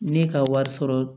Ne ka wari sɔrɔ